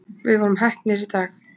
Við vorum heppnir í dag